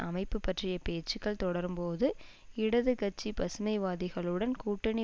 அமைப்பு பற்றிய பேச்சுக்கள் தொடரும்போது இடது கட்சி பசுமைவாதிகளுடன் கூட்டணி